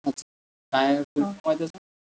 अच्छा, काय फुलफोर्म आहे त्याचा?